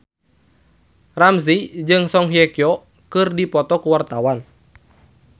Ramzy jeung Song Hye Kyo keur dipoto ku wartawan